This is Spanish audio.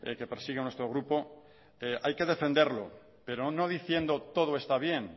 que persigue nuestro grupo hay que defenderlo pero no diciendo todo está bien